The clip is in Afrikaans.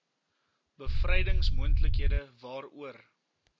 bevrydings moontlikhede waaroor